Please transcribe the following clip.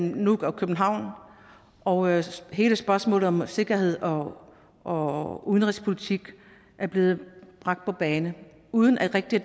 nuuk og københavn og hele spørgsmålet om sikkerhed og og udenrigspolitik er blevet bragt på bane uden at det rigtig